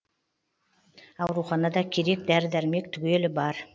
ауруханада керек дәрі дәрмек түгелі бар